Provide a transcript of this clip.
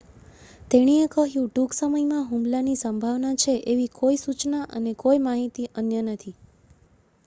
"તેણી એ કહ્યું "ટૂંક સમયમાં હુમલાની સંભાવના છે એવી કોઈ સુચના અને કોઈ અન્ય માહિતી નથી.